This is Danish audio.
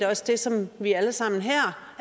også det som vi alle sammen her